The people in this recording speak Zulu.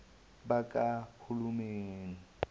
bakahulumeni